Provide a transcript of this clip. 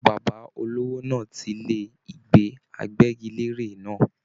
Bàbá olówó náà tí ilé ìgbé àgbẹgilère náà.